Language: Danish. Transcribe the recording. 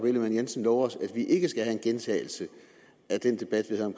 ellemann jensen lover os at vi ikke skal have en gentagelse